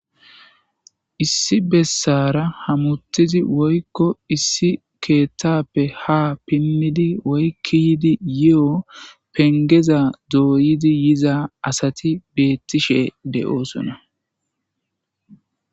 issi bessara hamuttizi woykko issi keettappe ha pinnidi woykki yidi yi7o pengeza dooyidi yiza asati beettishe de'oosona